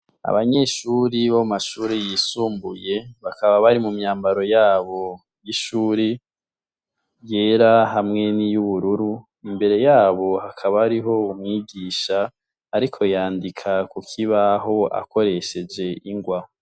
Abanyeshure bo mu mashure yisumbuye, bakaba bari mu myambaro yabo y'ishure yera hamwe n'iyubururu, imbere yabo hakaba hariho umwigisha ariko yandika ku kibaho akoresheje ingwa.